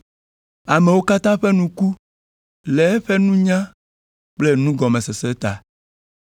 Amewo katã ƒe nu ku le eƒe nunya kple nugɔmesese ta.